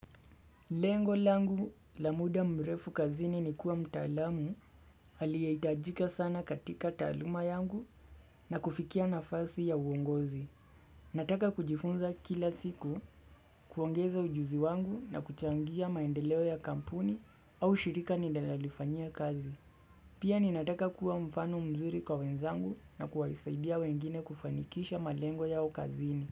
Lengo langu la muda mrefu kazini ni kuwa mtaalamu aliyehitajika sana katika taaluma yangu na kufikia nafasi ya uongozi. Nataka kujifunza kila siku kuongeza ujuzi wangu na kuchangia maendeleo ya kampuni au shirika ninayolifanyia kazi. Pia ninataka kuwa mfano mzuri kwa wenzangu na kuwasaidia wengine kufanikisha malengo yao kazini.